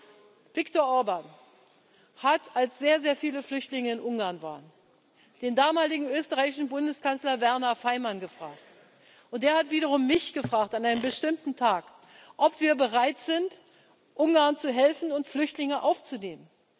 Schauen Sie, Viktor Orbán hat, als sehr, sehr viele Flüchtlinge in Ungarn waren, den damaligen österreichischen Bundeskanzler Werner Faymann gefragt, und der hat wiederum mich an einem bestimmten Tag gefragt, ob wir bereit sind, Ungarn zu helfen und Flüchtlinge aufzunehmen.